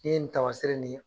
Ni ye nin tama seere nin ye